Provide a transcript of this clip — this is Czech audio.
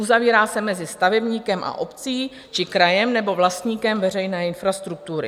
Uzavírá se mezi stavebníkem a obcí či krajem nebo vlastníkem veřejné infrastruktury.